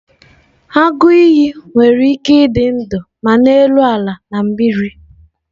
Agụ iyi nwere ike ịdị ndụ ma n'elu ala na mmiri